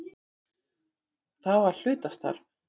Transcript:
Það var hlutastarf.